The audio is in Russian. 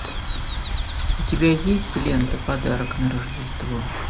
у тебя есть лента подарок на рождество